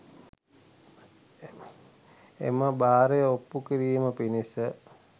එම බාරය ඔප්පු කිරීම පිණිස